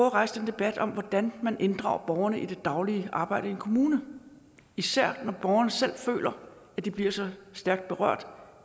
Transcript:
at rejse den debat om hvordan man inddrager borgerne i det daglige arbejde i en kommune især når borgerne selv føler at de bliver så stærkt berørt